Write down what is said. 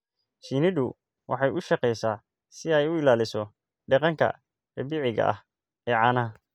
Shinnidu waxay u shaqeysaa si ay u ilaaliso deegaanka dabiiciga ah ee caanaha.